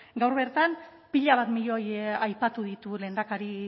gaur bertan pila bat milioi aipatu ditu